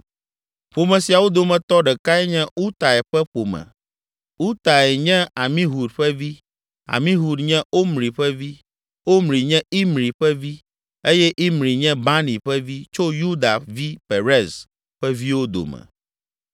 Ƒome siawo dometɔ ɖekae nye Utai ƒe ƒome. Utai nye Amihud ƒe vi, Amihud nye Omri ƒe vi, Omri nye Imri ƒe vi eye Imri nye Bani ƒe vi tso Yuda vi Perez ƒe viwo dome.